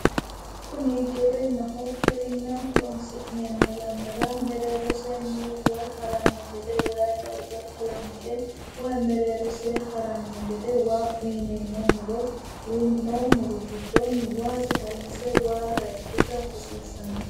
Kuni giwirinnaho giwirinna horonsi'neemo yanna mereeroseeni wayi haranno gede wayi darga kalanqe wayi mereerose haranno gede wayi uyineemo muro gidooni haranno garini hayiikisa hassiissanno.